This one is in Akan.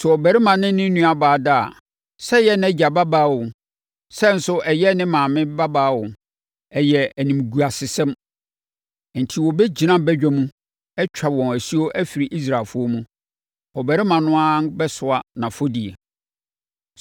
“ ‘Sɛ ɔbarima ne ne nuabaa da a, sɛ ɛyɛ nʼagya babaa o, sɛ nso ɛyɛ ne maame babaa o, ɛyɛ animguasesɛm, enti wɔbɛgyina badwa mu atwa wɔn asuo afiri Israelfoɔ mu. Ɔbarima no ara bɛsoa nʼafɔdie.